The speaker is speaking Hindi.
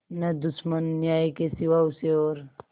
न दुश्मन न्याय के सिवा उसे और